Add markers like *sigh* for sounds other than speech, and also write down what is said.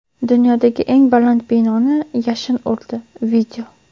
Dunyodagi eng baland binoni yashin urdi. *video*